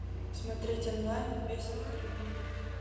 смотреть онлайн убей своих любимых